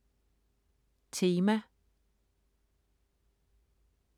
Tema